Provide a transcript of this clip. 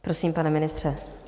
Prosím, pane ministře.